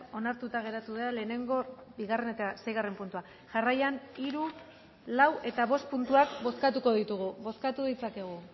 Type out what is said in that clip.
onartuta geratu da lehenengo bigarren eta seigarren puntua jarraian hiru lau eta bost puntuak bozkatuko ditugu bozkatu ditzakegu